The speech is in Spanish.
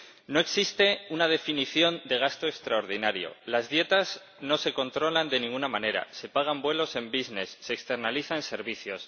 No existe una definición de gasto extraordinario, las dietas no se controlan de ninguna manera, se pagan vuelos en business se externalizan servicios.